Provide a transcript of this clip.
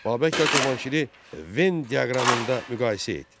Babəklə Cavanşiri Ven diaqramında müqayisə et.